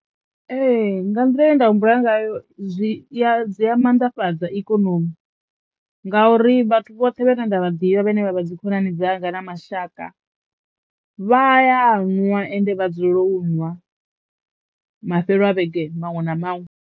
Ee nga nḓila ye nda humbula ngayo zwi ya dzi ya mannḓafhadza ikonomi ngauri vhathu vhoṱhe vhane nda vha ḓivha vhane vha vha dzi khonani dzanga na mashaka vha ya nwa ende vha dzulela u nwa mafhelo a vhege maṅwe na maṅwe.